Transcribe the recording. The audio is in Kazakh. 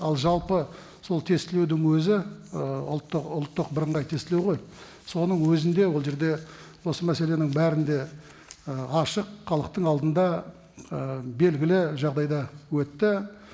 ал жалпы сол тестілеудің өзі ы ұлттық ұлттық бірыңғай тестілеу ғой соның өзінде ол жерде осы мәселенің бәрі де ы ашық халықтың алдында ы белгілі жағдайда өтті